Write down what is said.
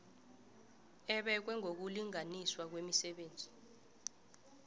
ebekwe ngokulinganiswa kwemisebenzi